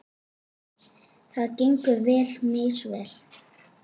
Það gengur því misvel.